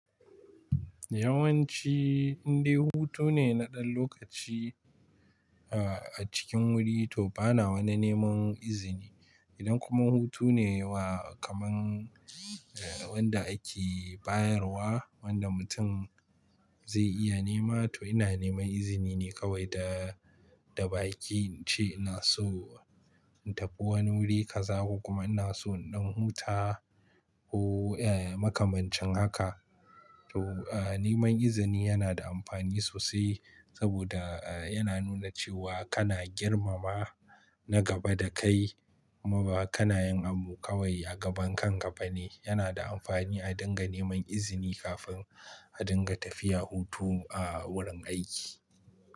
Yawanci indai hutu ne na ɗan lokaci a cikin wuri to bana wani neman izini. Idan kuma hutu ne wa kaman wanda ake bayarwa wanda mutum zai iya nema to ina neman izini ne kawai da baki ince ina so in tafi wani wuri ka za ku kuma ina so in ɗan huta ko eh makamancin haka. To neman izini yana da amfani sosai saboda yana nuna cewa kana girmama na gaba da kai kuma ba kanayin abu kawai a gaban kanka ba ne. Yana da amfani a dinga neman izini kafin a dinga tafiya hutu a wurin aiki.